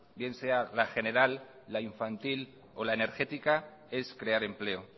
bien sea la general la infantil o la energética es crear empleo